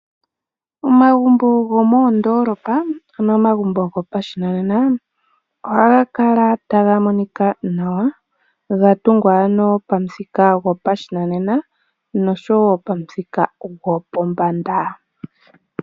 Omagumbo gomoondolopa ano gopamuthika gwoshinanena ohaga kala taga monika nawa ga tungwa pamuthika gwoshinanena oshowo gwopombanda.